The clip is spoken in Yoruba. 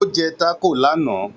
Ó jẹ́ tákò lánàá